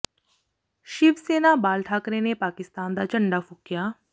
ਸ਼ਿਵ ਸੈਨਾ ਬਾਲ ਠਾਕਰੇ ਨੇ ਪਾਕਿਸਤਾਨ ਦਾ ਝੰਡਾ ਫੂਕਿਆ